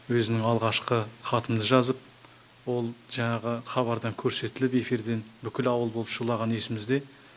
өзімнің алғашқы хатымды жазып ол жаңағы хабардан көрсетіліп эфирден бүкіл ауыл болып шулаған есімізде